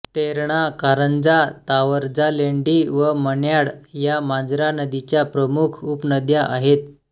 तेरणा कारंजा तावरजालेंडी व मन्याड या मांजरा नदीच्या प्रमुख उपनद्या आहेत